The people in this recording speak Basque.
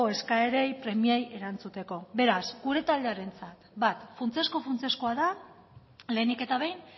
eskaerei premiei erantzuteko beraz gure taldearentzat bat funtsezko funtsezkoa da lehenik eta behin